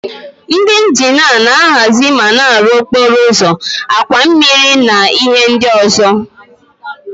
Ndị injinia na-ahazi ma na-arụ okporo ụzọ, àkwà mmiri na ihe ndị ọzọ.